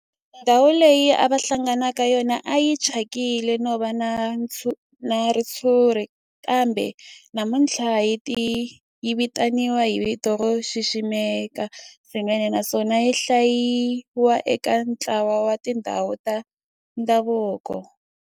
Ndhawu leyi a va hlangana ka yona a yi thyakile no va na ritshuri kambe namuntlha yi vitaniwa hi vito ro xiximeka swinene naswona yi hlayiwa eka ntlawa wa tindhawu ta ndhavuko.